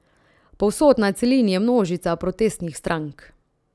Povsod na celini je množica protestnih strank.